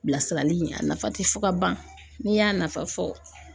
Bilasirali a nafa tɛ fɔ ka ban n'i y'a nafa fɔ.